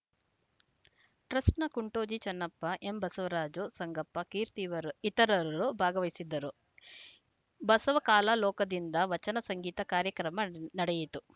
ಟ್ರಸ್ಟ್‌ನ ಕುಂಟೋಜಿ ಚನ್ನಪ್ಪ ಎಂಬಸವರಾಜ ಸಂಗಪ್ಪ ಕೀರ್ತಿ ಇವರ್ ಇತರರು ಭಾಗವಹಿಸಿದ್ದರು ಬಸವಕಲಾಲೋಕದಿಂದ ವಚನ ಸಂಗೀತ ಕಾರ್ಯಕ್ರಮ ನಡೆಯಿತು